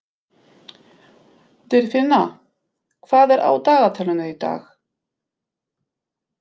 Dýrfinna, hvað er á dagatalinu í dag?